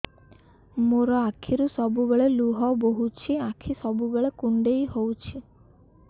ମୋର ଆଖିରୁ ସବୁବେଳେ ଲୁହ ବୋହୁଛି ଆଖି ସବୁବେଳେ କୁଣ୍ଡେଇ ହଉଚି